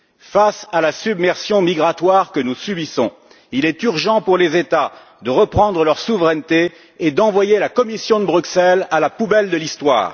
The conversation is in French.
Face à la submersion migratoire que nous subissons, il est urgent pour les États de reprendre leur souveraineté et d'envoyer la Commission de Bruxelles à la poubelle de l'histoire.